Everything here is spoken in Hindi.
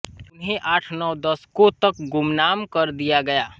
उन्हें आठनौ दशकों तक गुमनाम कर दिया गया